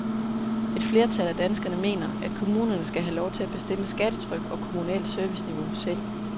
Et flertal af danskerne mener, at kommunerne skal have lov til at bestemme skattetryk og kommunalt serviceniveau selv.